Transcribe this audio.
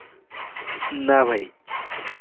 উম না ভাই.